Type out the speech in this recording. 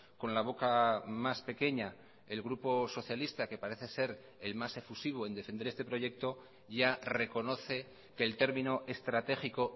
con la boca más pequeña el grupo socialista que parece ser el más efusivo en defender este proyecto ya reconoce que el término estratégico